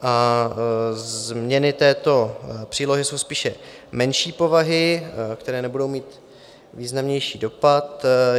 Změny této přílohy jsou spíše menší povahy, které nebudou mít významnější dopad.